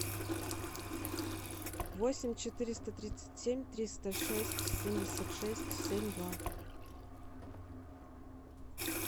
восемь четыреста тридцать семь триста шесть семьдесят шесть семь два